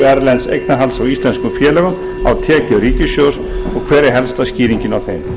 erlends eignarhalds á íslenskum félögum á tekjur ríkissjóðs og hver er helsta skýringin á þeim